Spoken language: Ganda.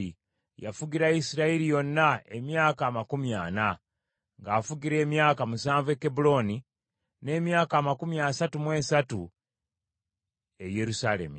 Yafugira Isirayiri yonna emyaka amakumi ana, ng’afugira emyaka musanvu e Kebbulooni, n’emyaka amakumi asatu mu esatu e Yerusaalemi.